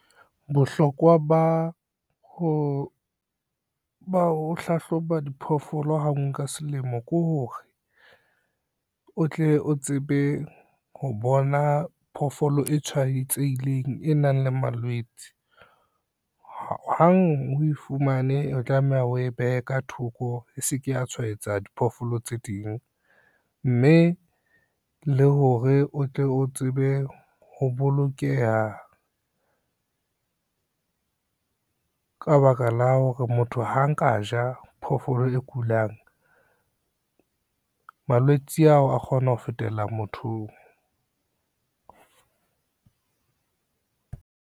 Bohlokwa ba ho hlahloba diphoofolo ha ngwe ka selemo ke hore, o tle o tsebe ho bona phoofolo e tshwaetsehileng e nang le malwetse. Hang o e fumane, o tlameha o e behe ka thoko e se ke ya tshwaetsa diphoofolo tse ding, mme le hore o tle o tsebe ho bolokeha, ka baka la hore motho ha nka ja phoofolo e kulang malwetse ao a kgona ho fetela mothong.